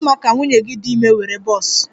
Ọ ga-adị mma ka nwunye gị dị ime were bọs?